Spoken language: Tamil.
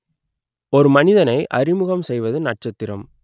ஒரு மனிதனை அறிமுகம் செய்வது நட்சத்திரம்